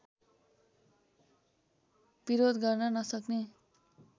विरोध गर्न नसक्ने